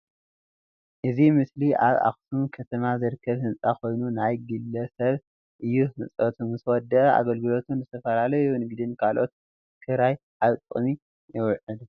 እዚ ምስሊ ኣብ ኣክሱም ክተማ ዝርክብ ህንፃ ኮይኑ ናይ ግል ስብ እዩ ህንፀቱ ምስ ወደአ አገልግሎት ንዝተፈላለዩ ንግድን ካልኦትን ክካረይ አብ ጥቅሚ ይውዕል